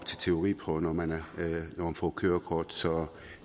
til teoriprøve når man får kørekort så